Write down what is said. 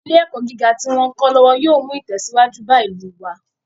Ilé ẹ̀kọ́ gíga tí wón ń kọ́ lọ́wọ́ yóò mú ìtẹ̀síwájú bá ìlú wá.